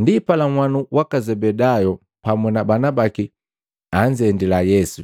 Ndipala nhwanu waka Zebedayu pamu na bana baki anzendila Yesu,